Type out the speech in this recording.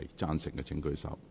贊成的請舉手。